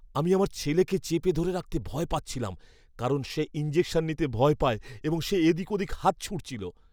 আমি আমার ছেলেকে চেপে ধরে রাখতে ভয় পাচ্ছিলাম কারণ সে ইনজেকশন নিতে ভয় পায় এবং সে এদিক ওদিক হাত ছুঁড়ছিল।